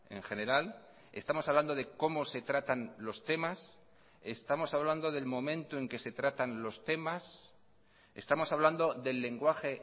en general estamos hablando de cómo se tratan los temas estamos hablando del momento en que se tratan los temas estamos hablando del lenguaje